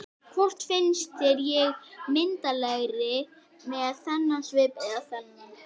Hvort finnst þér ég myndarlegri með þennan svip eða þennan?